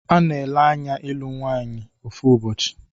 a na-ele anya ịlụ nwaanyi ofu ụbọchị.